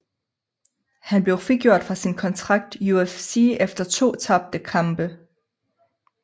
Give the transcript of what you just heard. Han blev frigjort fra sin kontrakt UFC efter to tabte kampe